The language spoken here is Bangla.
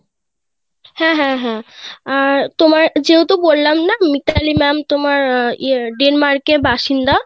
হ্যাঁ হ্যাঁ হ্যাঁ আহ তোমার যেহেতু বললাম না মিতালি ma'am তোমার ইয়ে Denmarkএর বাসিন্দা